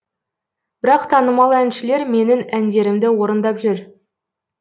бірақ танымал әншілер менің әндерімді орындап жүр